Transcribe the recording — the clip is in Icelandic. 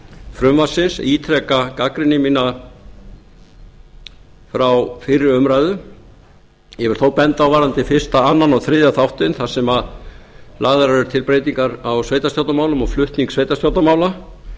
frumvarpsins ítreka gagnrýni mína frá fyrri umræðu ég vil þó benda á varðandi fyrsta annan og þriðja þáttinn þar sem lagðar eru til breytingar á sveitarstjórnarmálum og flutning sveitarstjórnarmála